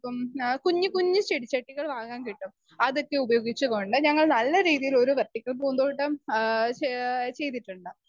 Speaker 2 പ്പം അഹ് കുഞ്ഞി കുഞ്ഞു ചെടിച്ചട്ടികൾ വാങ്ങാൻ കിട്ടും അതൊക്കെ ഉപയോഗിച്ചുകൊണ്ട് ഞങ്ങൾ നല്ലരീതിയിലൊരു വെർട്ടിക്കൽ പൂന്തോട്ടം ആഹ് ചെയ്തിട്ടുണ്ട്.